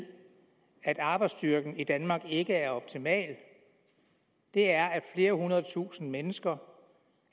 at arbejdsstyrken i danmark ikke er optimal er at flere hundrede tusind mennesker